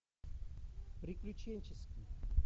приключенческий